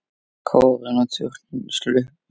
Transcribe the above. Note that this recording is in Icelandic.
Kórinn og turninn sluppu.